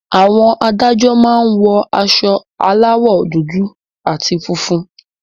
Àwọn Adájọ́ máa ń wọ aṣọ aláwọ̀ dúdú àti funfun